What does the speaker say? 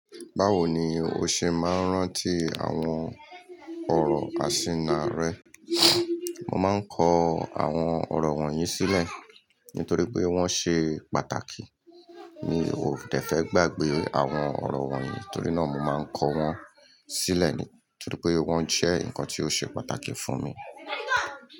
Báwo ni o ṣe máa ń rántí àwọn ọ̀rọ̀ àsínà rẹ? Mo máa ń kọ àwọn ọ̀rọ̀ wọ̀nyí sílẹ̀ nítorí pé wọ́n ṣe pàtàkì. Mi ò dẹ́ fẹ́ gbàgbé àwọn ọ̀rọ̀ wọ̀nyí, nítorí náà mo máa ń kọ wọ́n sílẹ̀ nítorí pé wọ́n jẹ́ nǹkan tí ó ṣe pàtàkì fún mi.